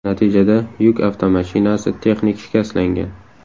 Natijada yuk avtomashinasi texnik shikastlangan.